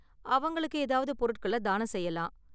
அவங்களுக்கு ஏதாவது பொருட்கள தானம் செய்யலாம்.